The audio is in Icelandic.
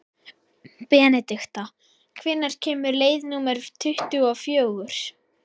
Benedikta, hvenær kemur leið númer tuttugu og fjögur?